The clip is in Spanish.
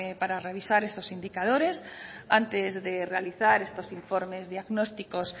para revisar esos indicadores antes de realizar estos informes diagnósticos